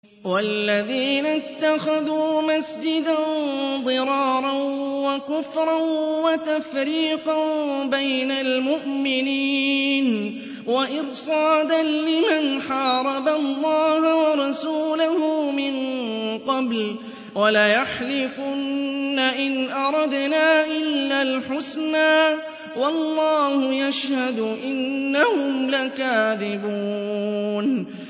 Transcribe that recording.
وَالَّذِينَ اتَّخَذُوا مَسْجِدًا ضِرَارًا وَكُفْرًا وَتَفْرِيقًا بَيْنَ الْمُؤْمِنِينَ وَإِرْصَادًا لِّمَنْ حَارَبَ اللَّهَ وَرَسُولَهُ مِن قَبْلُ ۚ وَلَيَحْلِفُنَّ إِنْ أَرَدْنَا إِلَّا الْحُسْنَىٰ ۖ وَاللَّهُ يَشْهَدُ إِنَّهُمْ لَكَاذِبُونَ